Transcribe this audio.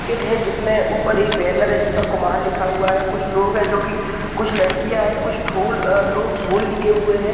Kit है जिसमें अपर एक बैनर है जिस पर कुमार ने लिखा है कुछ लोग है जो की कुछ लड़कियाँ हैं कुछ ढोल लोग ढोल के लिए हुए हैं।